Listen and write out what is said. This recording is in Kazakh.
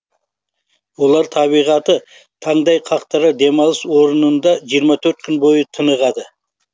олар табиғаты таңдай қақтырар демалыс орнында жиырма төрт күн бойы тынығады